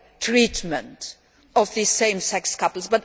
treatment of these same sex couples.